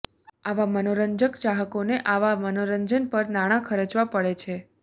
આવા મનોરંજક ચાહકોને આવા મનોરંજન પર નાણાં ખર્ચવા પડે છે